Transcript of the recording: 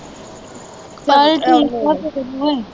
ਚਲ ਠੀਕ ਆ ਫਿਰ।